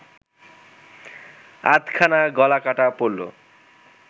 আধখানা গলা কাটা পড়ল